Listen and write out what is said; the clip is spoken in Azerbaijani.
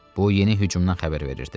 Bu yeni hücumdan xəbər verirdi.